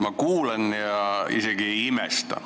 Ma kuulan ja isegi ei imesta.